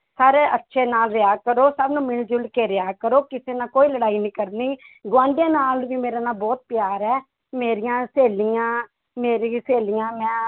ਸਾਰੇ ਅੱਛੇ ਨਾਲ ਰਿਹਾ ਕਰੋ ਸਭ ਨੂੰ ਮਿਲ ਜੁਲ ਕੇ ਰਿਹਾ ਕਰੋ ਕਿਸੇ ਨਾਲ ਕੋਈ ਲੜਾਈ ਨੀ ਕਰਨੀ ਗੁਆਂਢੀਆਂ ਨਾਲ ਵੀ ਮੇਰੇ ਨਾਲ ਬਹੁਤ ਪਿਆਰ ਹੈ, ਮੇਰੀਆਂ ਸਹੇਲੀਆਂ ਮੇਰੀ ਸਹੇਲੀਆਂ ਮੈਂ